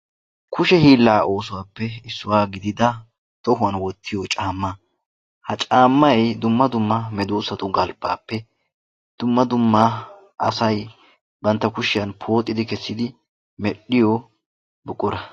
Kushe hiillaa oosuwappe issuwa gidida tohuwan wottiyo caammaa. Ha caammay dumma dumma medoossatu galbbaappe dumma dumma asay bantta kushiyan pooxidi kessidi medhdhiyo buqura.